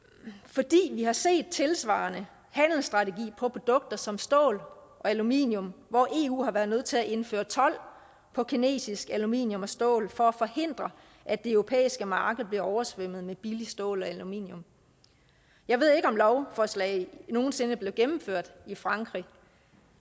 fordi vi har set tilsvarende handelsstrategi i forhold produkter som stål og aluminium hvor eu har været nødt til at indføre told på kinesisk aluminium og stål for at forhindre at det europæiske marked bliver oversvømmet med billigt stål og aluminium jeg ved ikke om lovforslaget nogen sinde blev gennemført i frankrig